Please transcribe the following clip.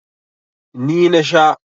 Ni na sha.